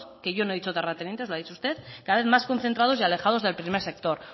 que yo no he dicho terratenientes lo ha dicho usted cada vez más concentrados y alejados del primer sector